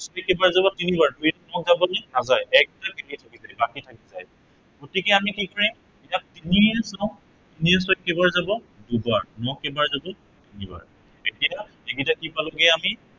দুইৰে কেইবাৰ যাব তিনিবাৰ, দুইৰে আৰু যাবনে, নাযায়। বাকী থাকি যায়গৈ, গতিকে আমি কি কৰিম, এতিয়া তিনিৰে চাও, তিনিৰে ছয়ক কেইবাৰ যাব দুবাৰ, হৰণ কেইবাৰ যাব দুবাৰ, কেইবাৰ যাব দুবাৰ। এতিয়া তিনিৰে কি পালোগে আমি